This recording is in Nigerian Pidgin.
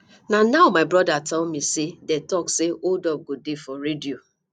na now my brother tell me say dey talk say hold up go dey for radio